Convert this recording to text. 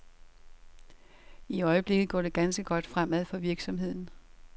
I øjeblikket går det ganske godt fremad for virksomheden.